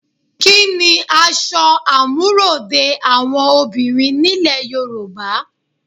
Kí ni aṣọ àmúròde àwọn obìnrin nílẹ̀ Yorùbá?